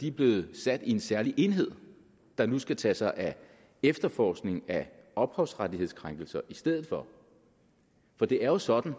er blevet sat i en særlig enhed der nu skal tage sig af efterforskningen af ophavsrettighedskrænkelser i stedet for for det er jo sådan